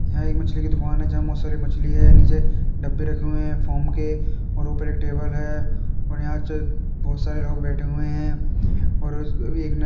यहाँ एक मछली की दुकान है। जहाँ बहुत सारी मछली है। नीचे डब्बे रखे हुए हैं फ़ोम के और ऊपर एक टेबल है और यहाँ बहुत सारे लोग बैठे हुए हैं और एक --